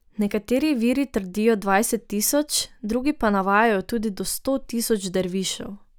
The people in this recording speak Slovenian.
Nekateri viri trdijo dvajset tisoč, drugi pa navajajo tudi do sto tisoč dervišev.